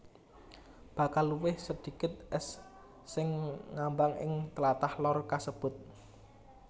Bakal luwih sedikit ès sing ngambang ing tlatah Lor kasebut